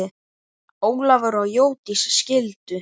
Ólafur og Jódís skildu.